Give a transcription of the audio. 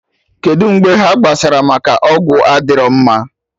Kedụ mgbe ha kpara maka ọgwụ adịrọ mma?